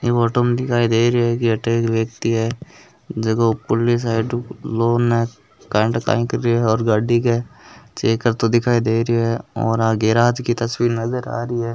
ई auto में दिखाई दे रहियो है की अठे एक व्यक्ति है जको खुली साइड हु लो न काई ठा काई करियो है गाड़ी के चेक करतो दिखाई दे रहियो है और आ गेराज की तस्वीर नजर आ रही है।